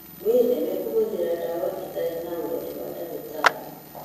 Wĩtheme kũhũthĩra ndawa ĩtarĩ na ũrori wa ndagĩtarĩ.